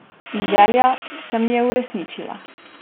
In želja se mi je uresničila.